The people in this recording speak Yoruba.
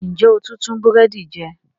Ń jẹ́ ń ó tùn tún búrẹ́dì jẹ